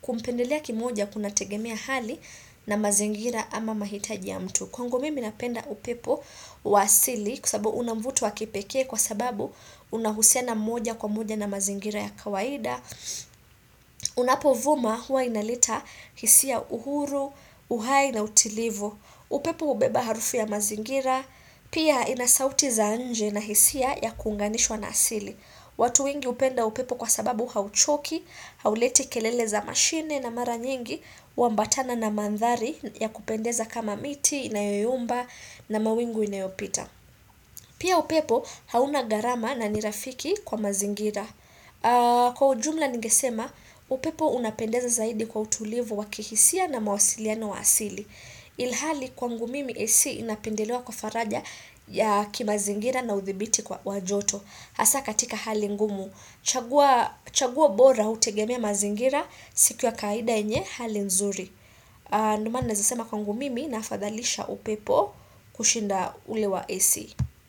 kumpendelea kimoja kunategemia hali na mazingira ama mahitaji ya mtu. Kwangu mimi napenda upepo wa asili kwa sabu una mvuto wa kipekee kwa sababu unahusiana moja kwa moja na mazingira ya kawaida. Unapovuma huwa inaleta hisia uhuru, uhai na utilivu upepo hubeba harufu ya mazingira Pia inasauti za nje na hisia ya kuunganishwa na asili. Watu wengi hupenda upepo kwa sababu hauchoki Hauleti kelele za mashine na mara nyingi huambatana na mandhari ya kupendeza kama miti, inayoyumba na mawingu inayopita Pia upepo hauna gharama na ni rafiki kwa mazingira. Kwa ujumla ningesema, upepo unapendeza zaidi kwa utulivu wa kihisia na mawasiliana wa asili Ilhali kwangu mimi AC inapendelewa kwa faraja ya kimazingira na uthibiti kwa wa joto Hasaa katika hali ngumu, chaguo bora hutegemea mazingira siku ya kawaida yenye hali nzuri. Ndo maana naezasema kwangu mimi nahafadhalisha upepo kushinda ule wa AC.